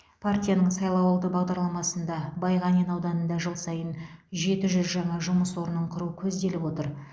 партияның сайлауалды бағдарламасында байғанин ауданында жыл сайын жеті жүз жаңа жұмыс орнын құру көзделіп отыр